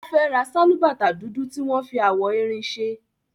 Ó fẹ́ ra sálúbàtà dúdú tí wọ́n fi awọ erin ṣe.